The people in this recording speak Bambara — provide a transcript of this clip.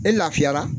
E lafiyara